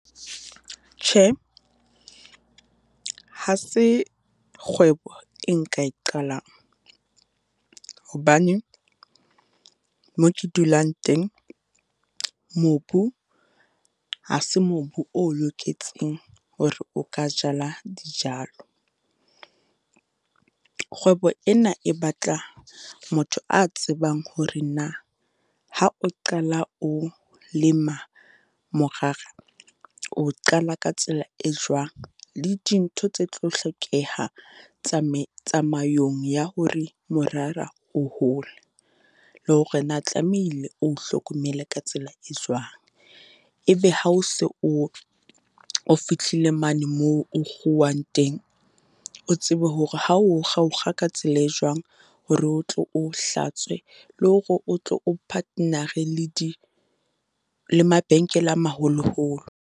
Tjhe, ha se kgwebo e nka e qalang, hobane moo ke dulang teng, mobu ha se mobu o loketseng hore o ka jala dijalo. Kgwebo ena e batla motho a tsebang hore na, ha o qala o lema morara, o qala ka tsela e jwang? Le dintho tse tlo hlokeha tsamayong ya hore morara o hole? Le hore na tlamehile o hlokomele ka tsela e jwang? E be ha o se o o fihlile mane moo o kguwang teng, o tsebe hore ha o o kga, o o kga ka tsela e jwang, hore o tlo o o hlatswe, le hore o tlo o partner-re le di, le mabenkele a maholoholo.